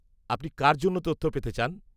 আপনি কার জন্য তথ্য পেতে চান?